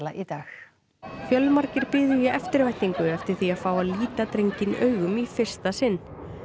í dag fjölmargir biðu í eftirvæntingu eftir því að fá að líta drenginn augum í fyrsta sinn